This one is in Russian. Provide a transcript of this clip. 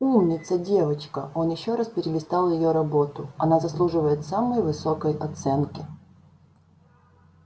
умница девочка он ещё раз перелистал её работу она заслуживает самой высокой оценки